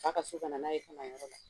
Fa ka so ka na n'a ye yɔrɔ la.